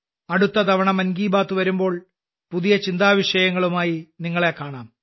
അടുത്ത തവണ മൻ കി ബാത്ത് വരുമ്പോൾ ചില പുതിയ വിഷയങ്ങളുമായി നിങ്ങളെ കാണാം